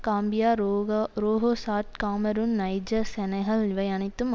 Gambia ரோக ரோகோசாட் Cameroon நைஜஸ் செனகல் இவை அனைத்தும்